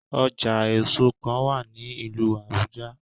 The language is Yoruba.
Ọja eso kan wa ni ilu Abuja